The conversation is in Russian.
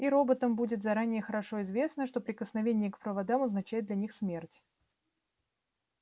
и роботам будет заранее хорошо известно что прикосновение к проводам означает для них смерть